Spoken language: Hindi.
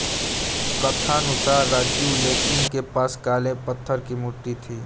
कथानुसार राजीव तेलीन के पास काले पत्थर की मूर्ति थी